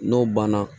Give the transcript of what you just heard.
N'o banna